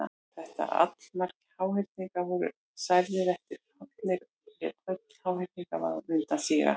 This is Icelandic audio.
Þegar allmargir háhyrningar voru særðir eða fallnir lét öll háhyrningavaðan undan síga.